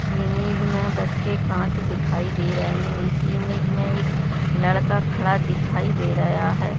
इस इमेज मे बस के एक कांच दिखाई दे रहे है इस इमेज मे एक लड़का खड़ा दिखाई दे रया है।